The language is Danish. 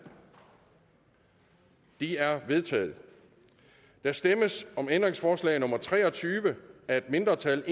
de er vedtaget der stemmes om ændringsforslag nummer tre og tyve af et mindretal